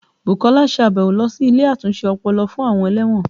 Bukola ṣe àbẹ̀wò lọ sí ilé àtúnṣe ọpọlọ fún àwọn ẹlẹ́wọ̀n